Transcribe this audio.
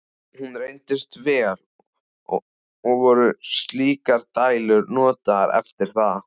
Hún reyndist vel, og voru slíkar dælur notaðar eftir það.